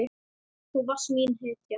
Þú varst mín hetja.